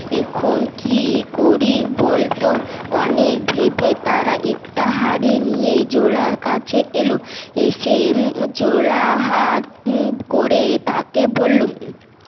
এখন কি করি বল তো অনেক ভেবে তারা একটা হাড়ি নিয়ে জোলার কাছে এলো এসে জোলা হাত মুট করে তা কে বললো